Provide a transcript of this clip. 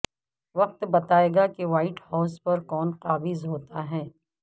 وقت بتائے گا کہ وہائٹ ہائوس پرکون قابض ہوتا ہے